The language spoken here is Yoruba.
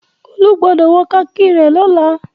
Olú gbọdọ̀ wọ kami rẹ lọ́la.